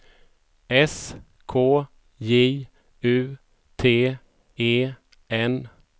S K J U T E N